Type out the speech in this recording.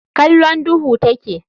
Kallon duhu take.